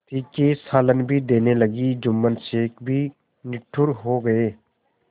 तीखे सालन भी देने लगी जुम्मन शेख भी निठुर हो गये